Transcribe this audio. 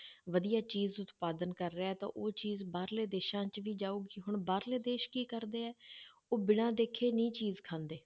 ਵਧੀਆ ਚੀਜ਼ ਉਤਪਾਦਨ ਕਰ ਰਿਹਾ ਹੈ ਤਾਂ ਉਹ ਚੀਜ਼ ਬਾਹਰਲੇ ਦੇਸਾਂ 'ਚ ਵੀ ਜਾਊਗੀ, ਹੁਣ ਬਾਹਰਲੇ ਦੇਸ ਕੀ ਕਰਦੇ ਹੈ ਉਹ ਬਿਨਾਂ ਦੇਖੇ ਨਹੀਂ ਚੀਜ਼ ਖਾਂਦੇ,